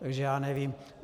Takže já nevím.